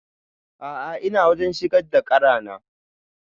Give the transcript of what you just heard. A'a ina wajen shigar da ƙara na